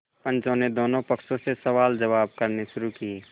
पंचों ने दोनों पक्षों से सवालजवाब करने शुरू किये